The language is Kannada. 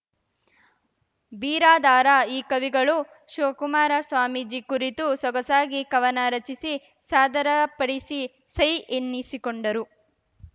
ಬಿರಾದಾರ ಈ ಕವಿಗಳು ಶಿವಕುಮಾರ ಸ್ವಾಮೀಜಿ ಕುರಿತು ಸೊಗಸಾಗಿ ಕವನ ರಚಿಸಿ ಸಾದರ ಪಡಿಸಿ ಸೈ ಎನ್ನಿಸಿಕೊಂಡರು